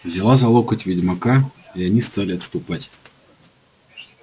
взяла за локоть ведьмака и они стали отступать